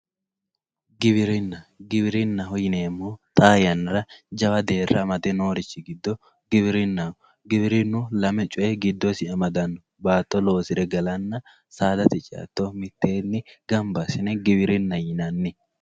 giwirinna giwirinnaho yineemmohu xaa yannara jawa deerra amade noohu giwirinnaho giwirinnu xaa yannara lame coye mitteenni amadanno saadate ce"attonna baatto loosire gala mitteenni gamba assine giwirinnaho yinanni